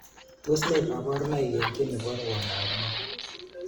Tos ne kaburunoik eng ki nebo rwondo ab moo?